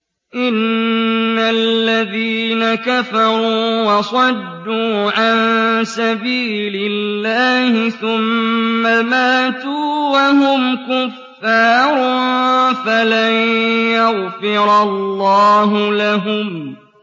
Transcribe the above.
إِنَّ الَّذِينَ كَفَرُوا وَصَدُّوا عَن سَبِيلِ اللَّهِ ثُمَّ مَاتُوا وَهُمْ كُفَّارٌ فَلَن يَغْفِرَ اللَّهُ لَهُمْ